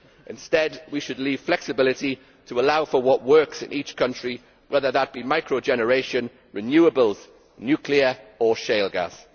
Instead, we should preserve the flexibility to provide for what works in each country, whether that be micro generation, renewables, nuclear power or shale gas.